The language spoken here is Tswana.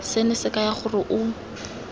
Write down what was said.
seno se kaya gore o